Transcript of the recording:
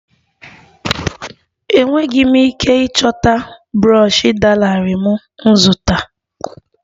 Enweghị m ike ịchọta brọshi dị larịị m zụtara